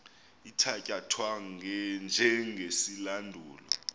ithatya thwa njengesilandulo